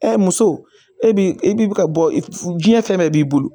muso e bi e bi ka bɔ f jiɲɛ fɛn bɛɛ b'i bolo